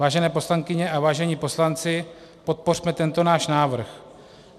Vážené poslankyně a vážení poslanci, podpořme tento náš návrh.